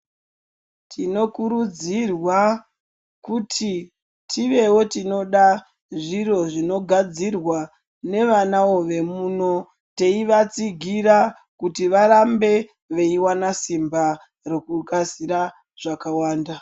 Tinokurudzirwa kuti tiveo tinoda zviro zvinogadzirwa nevanao vemuno teivatsigira kuti varambe veiona simba rekugadzira zvakawanda .